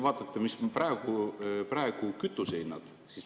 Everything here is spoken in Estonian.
Vaadake, mis on praegu kütusehinnad.